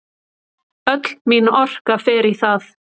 Öll mín orka fer í það.